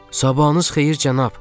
Sabahınız xeyir cənab.